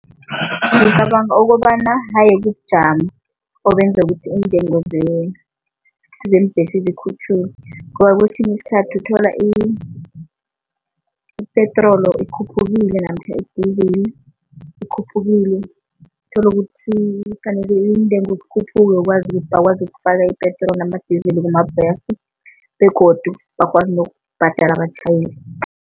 Ngicabanga ukobana haye kubujamo obenza ukuthi iintengo zeembhesi zikhutjhulwe ngoba kwesinye isikhathi uthola i-petrol ikhuphukile namkha i-diesel ikhuphukile, uthole ukuthi kufanele iintengo zikhuphuke ukwazi bakwazi ukufaka ipetroli nama-diesel kumabhasi begodu bakwazi nokubhadala abatjhayeli.